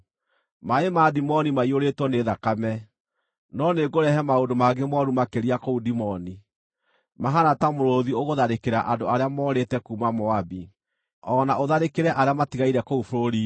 Maaĩ ma Dimoni maiyũrĩtwo nĩ thakame, no nĩngũrehe maũndũ mangĩ mooru makĩria kũu Dimoni, mahaana ta mũrũũthi ũgũtharĩkĩra andũ arĩa morĩte kuuma Moabi, o na ũtharĩkĩre arĩa matigaire kũu bũrũri-inĩ.